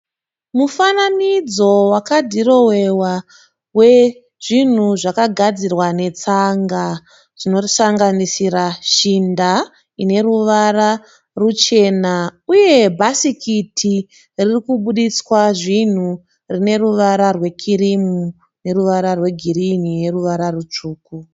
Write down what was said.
Mufananidzo kadhirowewa wezvinhu zvakagadzirwa zvetsanga zvinosanganisira shinda ine ruvara ruchena uye bhasikiti ririkubudiswa zvinhu rine ruvara rwekirimu, girinhi neruvara rutsvuku.